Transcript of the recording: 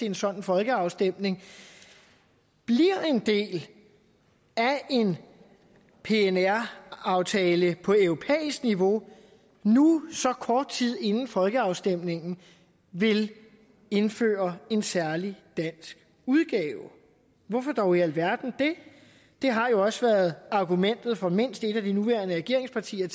en sådan folkeafstemning bliver en del af en pnr aftale på europæisk niveau nu så kort tid inden folkeafstemningen vil indføre en særlig dansk udgave hvorfor dog i alverden det det har jo også tidligere været argumentet fra mindst et af de nuværende regeringspartier